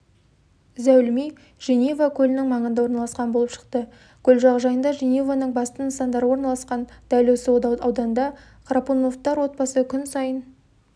зәулім үй женева көлінің маңында орналасқан болып шықты көл жағажайында женеваның басты нысандары орналасқан дәл осы ауданда храпуновтар отбасы күн сайын